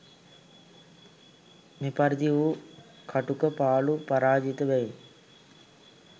මෙපරිදි වූ කටුක පාළු පරාජිත බවින්